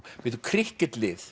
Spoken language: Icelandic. bíddu